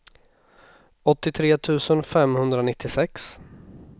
åttiotre tusen femhundranittiosex